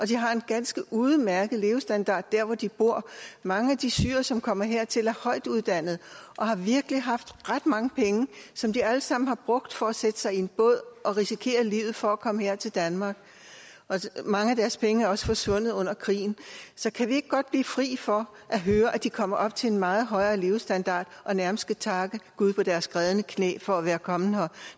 de har en ganske udmærket levestandard der hvor de bor mange af de syrere som kommer hertil er højtuddannede og har virkelig haft ret mange penge som de alle sammen har brugt for at sætte sig i en båd og risikere livet for at komme her til danmark mange af deres penge er også forsvundet under krigen så kan vi ikke godt blive fri for at høre at de kommer op til en meget højere levestandard og nærmest skal takke gud på deres grædende knæ for at være kommet her